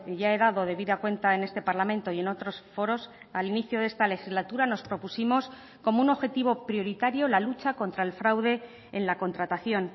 ya he dado debida cuenta en este parlamento y en otros foros al inicio de esta legislatura nos propusimos como un objetivo prioritario la lucha contra el fraude en la contratación